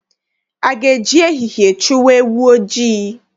A ga-eji ehihie chụwa ewu ojii?